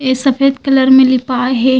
ये सफ़ेद कलर में लिपाए हे।